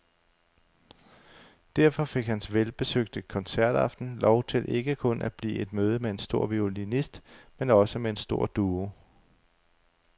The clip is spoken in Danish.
Derfor fik hans velbesøgte koncertaften lov til ikke kun at blive et møde med en stor violinist men med også en stor duo.